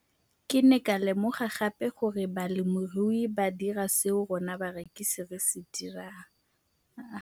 Ke ne ka lemoga gape gore balemirui ba dira seo rona barekisi re se dirang ba ne ba phuthela ditholwana tsa bona mme ba di rekisa kwa marakeng wa Motsekapa.